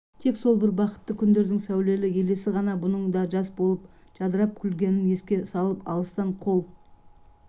тек сол бір бақытты күндердің сәулелі елесі ғана бұның да жас болып жадырап күлгенін еске салып алыстан қол